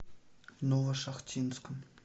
новошахтинском